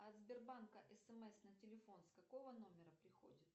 от сбербанка смс на телефон с какого номера приходит